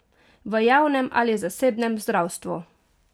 V javnem ali zasebnem zdravstvu?